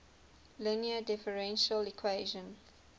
linear differential equation